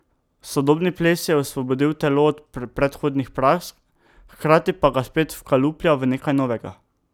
Sodobni ples je osvobodil telo od predhodnih praks, hkrati pa ga spet vkaluplja v nekaj novega.